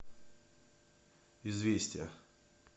известия